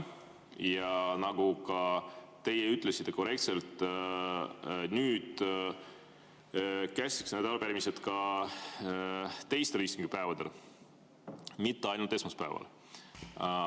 Ja nagu ka teie ütlesite korrektselt, et nüüd käsitletakse arupärimisi ka teistel istungipäevadel, mitte ainult esmaspäeval.